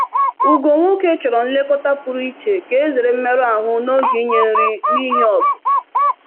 Ugo nwoke chọrọ nlekọta pụrụ iche ka e zere mmerụ ahụ n’oge inye nri n’ihi ọgụ.